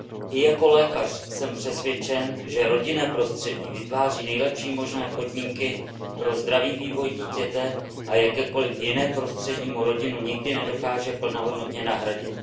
I jako lékař jsem přesvědčen, že rodinné prostředí vytváří nejlepší možné podmínky pro zdravý vývoj dítěte a jakékoliv jiné prostředí mu rodinu nikdy nedokáže plnohodnotně nahradit.